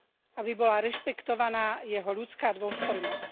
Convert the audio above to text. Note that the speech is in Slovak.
Aby bola rešpektovaná jeho ľudská dôstojnosť.